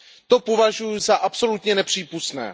To považuji za absolutně nepřípustné.